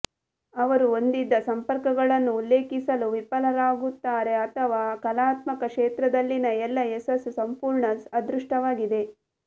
ಅವರು ಹೊಂದಿದ್ದ ಸಂಪರ್ಕಗಳನ್ನು ಉಲ್ಲೇಖಿಸಲು ವಿಫಲರಾಗುತ್ತಾರೆ ಅಥವಾ ಕಲಾತ್ಮಕ ಕ್ಷೇತ್ರದಲ್ಲಿನ ಎಲ್ಲ ಯಶಸ್ಸು ಸಂಪೂರ್ಣ ಅದೃಷ್ಟವಾಗಿದೆ